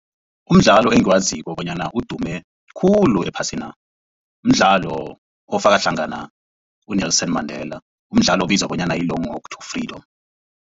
Umdlalo engiwaziko bonyana udume khulu ephasina mdlalo ofaka hlangana uNelson Mandela mdlalo obizwa bonyana yi-Long Walk To Freedom.